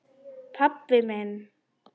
Pabbi minn?